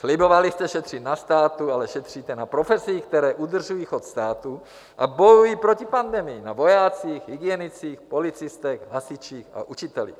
Slibovali jste šetřit na státu, ale šetříte na profesích, které udržují chod státu a bojují proti pandemii - na vojácích, hygienicích, policistech, hasičích a učitelích.